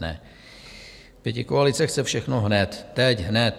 Ne, pětikoalice chce všechno hned, teď hned.